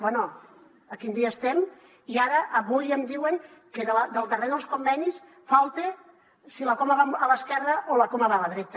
bé a quin dia estem i ara avui em diuen que del darrer dels convenis falta si la coma va a l’esquerra o la coma va a la dreta